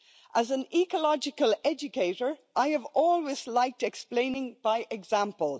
As an ecological educator, I have always liked explaining by example.